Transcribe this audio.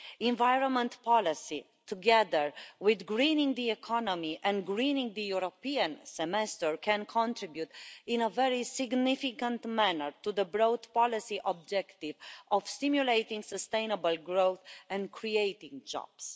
Environment policy, together with greening the economy and greening the European semester, can contribute in a very significant manner to the broad policy objective of stimulating sustainable growth and creating jobs.